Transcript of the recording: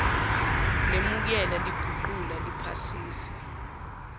lemukela liguqula liphasisa